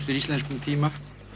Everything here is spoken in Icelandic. íslenskum tíma